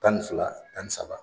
Tan ni fila tan ni saba